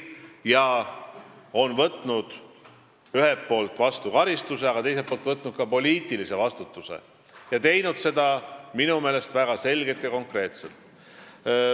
Ta on võtnud vastu karistuse, aga võtnud ka poliitilise vastutuse ning teinud seda minu meelest väga selgelt ja konkreetselt.